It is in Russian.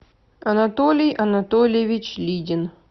анатолий анатольевич лидин